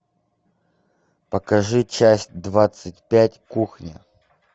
покажи часть двадцать пять кухня